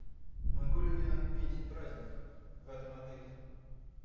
могу ли я отметить праздник в этом отеле